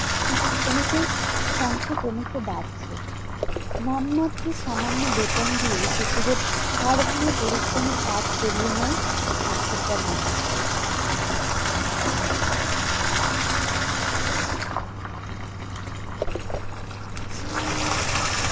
শিশুশ্রমিকের সংখ্যা ক্রমশ বাড়ছে। নামমাত্র সামান্য বেতন দিয়ে শিশুদের হাড়ভাঙ্গা পরিশ্রমের কাজ করিয়ে নেয় স্বার্থপর মানুষ।